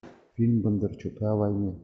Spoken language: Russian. фильм бондарчука о войне